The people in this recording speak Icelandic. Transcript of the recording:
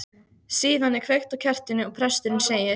Síðan er kveikt á kertinu og presturinn segir